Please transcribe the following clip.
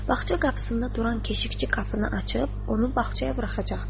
Bağça qapısında duran keşnikçi qapını açıb, onu bağçaya buraxacaqdır.